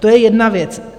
To je jedna věc.